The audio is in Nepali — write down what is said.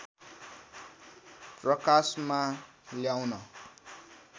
प्रकाशमा ल्याउन